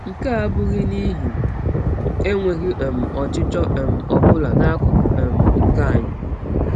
Nke a abụghị n’ihi enweghị um ọchịchọ um ọ bụla n’akụkụ um nke anyị.